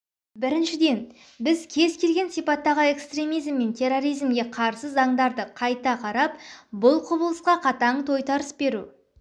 біріншіден біз кез-келген сипаттағы экстремизм мен терроризмге қарсы заңдарды қайта қарап бұл құбылысқа қатаң тойтарыс беру